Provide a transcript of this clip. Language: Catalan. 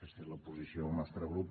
aquesta és la posició del nostre grup